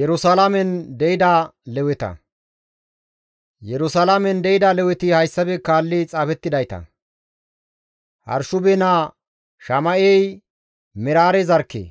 Yerusalaamen de7ida Leweti hayssafe kaalli xaafettidayta; Hashube naa Shama7ey Meraare zarkke;